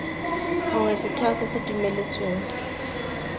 gongwe setheo se se dumeletsweng